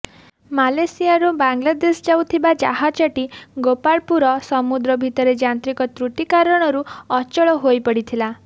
ମାଲେସିଆରୁ ବାଂଲାଦେଶ ଯାଉଥିବା ଜାହାଜଟି ଗୋପାଳପୁର ସମୁଦ୍ର ଭିତରେ ଯାନ୍ତ୍ରିକ ତ୍ରୁଟି କାରଣରୁ ଅଚଳ ହୋଇପଡିଥିଲା